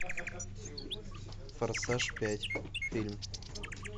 форсаж пять фильм